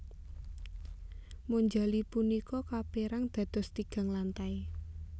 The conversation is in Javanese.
Monjali punika kapérang dados tigang lantai